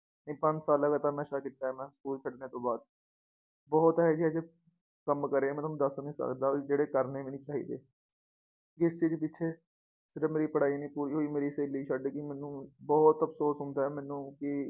ਕੀਤਾ ਏ ਨਾ ਸਕੂਲ ਛੱਡਣ ਤੋਂ ਬਾਅਦ ਬਹੁਤ ਇਹੋ ਜਿਹੇ ਕੰਮ ਕਰੇ ਮੈ ਤੁਹਾਨੂੰ ਦੱਸ ਨੀ ਸਕਦਾ ਵੀ ਜਿਹੜੇ ਕਰਨੇ ਵੀ ਨੀ ਚਾਹੀਦੇ ਇਸ ਚੀਜ ਦੇ ਪਿਛੇ ਜਬ ਮੇਰੀ ਪੜ੍ਹਾਈ ਨੀ ਪੂਰੀ ਹੋਈ ਮੇਰੀ ਸਹੇਲੀ ਛੱਡ ਗਈ ਮੈਨੂੰ ਬਹੁਤ ਅਫਸੋਸ ਹੁੰਦਾ ਏ ਮੈਨੂੰ ਕਿ